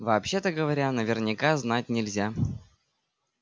вообще-то говоря наверняка знать нельзя